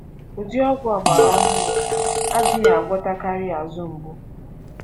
Ụdị ọgwụ ọgbara ohụrụ adịghị agwọtakarị azụ mgbu.